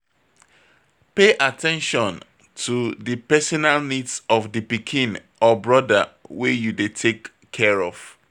Pay at ten tion to di personal needs of di pikin or broda wey you dey take care of